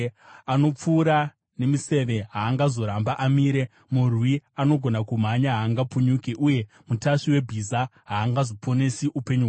Anopfura nemiseve haangazoramba amire, murwi anogona kumhanya haangapunyuki, uye mutasvi webhiza haangazoponesi upenyu hwake.